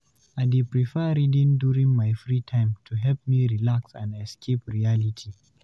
I dey prefer reading during my free time to help me relax and escape reality.